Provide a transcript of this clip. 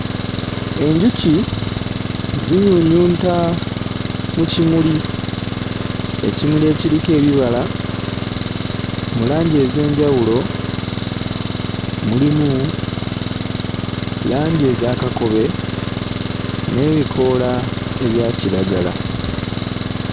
Enjuki zinyuunyunta mu kimuli, ekimuli ekiriko ebibala mu langi ez'enjawulo; mulimu langi eza kakobe n'ebikoola ebya kiragala.